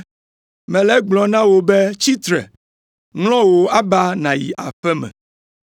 “Mele egblɔm na wò be tsi tre! Ŋlɔ wò aba nàyi aƒe me!”